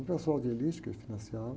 Um pessoal de elite que financiava.